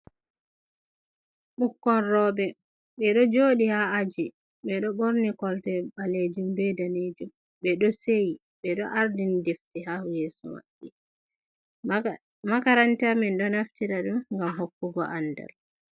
Ɓukkon roɓe, ɓe ɗo joɗi ha aji, ɓe ɗo ɓorni kolte ɓalejum, be danejum, ɓe ɗo seyi, ɓe ɗo ardin defti ha yeso maɓɓi makaranta min ɗo naftira ɗum gam hokkugo andal.